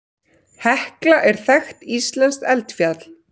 Hekla er þekkt íslenskt eldfjall.